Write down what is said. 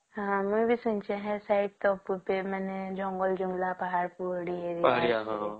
ଆମର ବି ସେମିତି ହେଇସି ଜଙ୍ଗଲ ଏରିଆ ପାହାଡ଼ ପହଡ ଏରିଆ